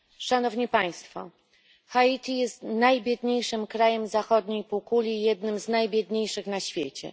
Haiti jest najbiedniejszym krajem zachodniej półkuli i jednym z najbiedniejszych na świecie.